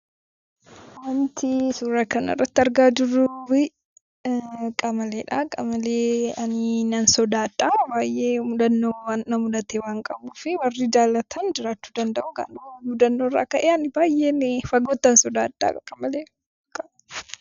Wanti suuraa kanarratti argaa jirru kun qamalee dha. Qamalee ani nan sodaadha. Baay'ee mudannoo na mudate waan qabuufi. Warri jaallatan jiraachuu danda'u. Garuu mudannoo irraa ka'ee ani baay'een fagoottan sodaadha akka malee.